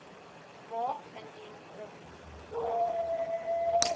maak indien ons